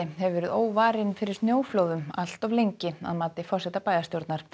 hefur verið óvarin fyrir snjóflóðum allt of lengi að mati forseta bæjarstjórnar